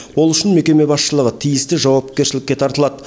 ол үшін мекеме басшылығы тиісті жауапкершілікке тартылады